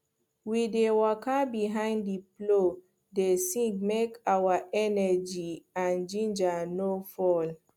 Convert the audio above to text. we dey waka behind the plow dey sing make our energy and ginger no fall